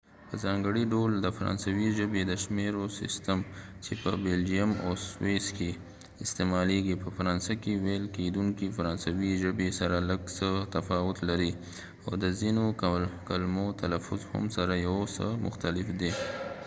په ځانګړي ډول د فرانسوۍ ژبې د شمیرو سیستم چې په بلجیم او سویس کې استعمالیږي په فرانسه کې ویل کیدونکې فرانسوۍ ژبې سره لږ څه تفاوت لري او د ځینو کلمو تلفظ هم سره یو څه مختلف دی